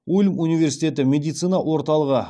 ульм университеті медицина орталығы